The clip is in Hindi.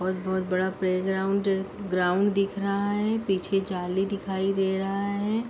बहोत-बहोत बड़ा प्लेग्राउंड ग्राउन्ड दिख रहा है। पीछे जाली दिखाई दे रहा है।